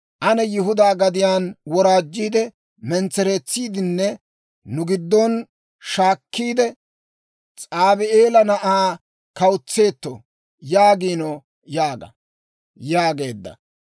«Ane Yihudaa gadiyaan woraajjiide, mentsereetsidinne nu giddon shaakkiide, S'aabi'eela na'aa kawutseeto» yaagiino› yaaga» yaageedda.